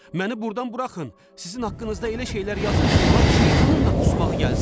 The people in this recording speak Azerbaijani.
Məni burdan buraxın, sizin haqqınızda elə şeylər yazım, lap şeytanın da qusmağı gəlsin.